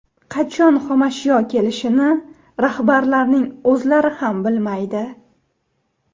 Qachon xomashyo kelishini rahbarlarning o‘zlari ham bilmaydi.